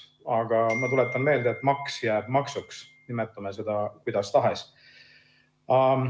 Aga ma tuletan meelde, et maks jääb maksuks, nimetame seda kuidas tahes.